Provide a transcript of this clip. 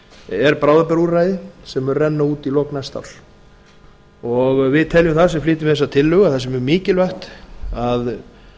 er bráðabirgðaúrræði sem mun renna út í lok næsta árs við teljum það sem flytjum þessa tillögu að það sé mjög mikilvægt að